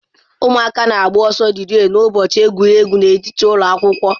Ụmụ akwụkwọ na-agba ọsọ rịree n'ụbọchị egwuregwu n'etiti ụlọ akwụkwọ